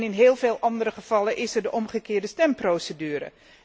In heel veel andere gevallen is er de omgekeerde stemprocedure.